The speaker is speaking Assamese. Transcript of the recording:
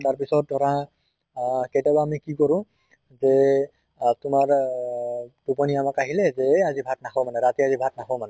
তাৰ পিছত ধৰা আহ কেতিয়াবা আমি কি কৰোঁ যে আহ তোমাৰ আহ টোপনী অলপ আহিলে যে আজি ভাত নাখাওঁ মানে ৰাতি আজি ভাত নাখাওঁ মানে